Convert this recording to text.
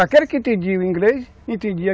Aquele que entendia o inglês, entendia.